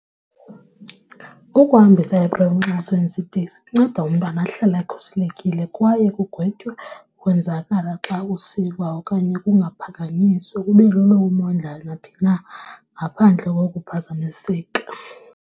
Ukuhambisa ipremu xa usebenzisa itekisi kunceda umntwana ahlale ekhuselekile kwaye kugwetywe ukwenzakala xa usiva okanye kungaphakanyiswa kube lula umondla naphi na ngaphandle kokuphazamiseka.